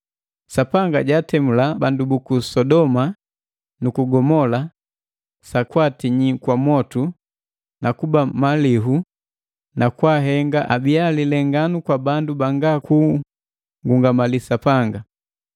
Sapanga jaatemula bandu buku Sodoma nu ku Gomola sakwaatinyi kwa mwotu na kuba malihu na kwaahenga abiya lilenganu kwa bandu banga kungungamali Sapanga.